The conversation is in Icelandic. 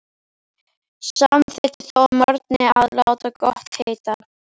Samþykkti þó að morgni að láta gott heita.